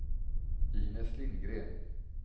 Inez Lindgren